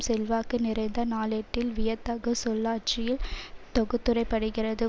செல்வாக்கு நிறைந்த நாளேட்டில் வியத்தகு சொல்லாட்சியில் தொகுத்துரைக்கப்படுகிறது